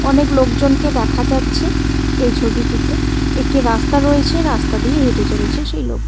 অনেক লোকজনকে দেখা যাচ্ছে এই ছবিটিতে একটি রাস্তা রয়েছে রাস্তা দিয়ে হেঁটে চলেছে সেই লোকগু--